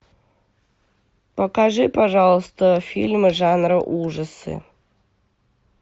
покажи пожалуйста фильмы жанра ужасы